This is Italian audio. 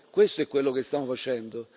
Questo è quello che stiamo facendo.